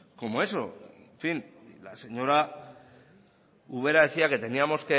como eso en fin la señora ubera decía que teníamos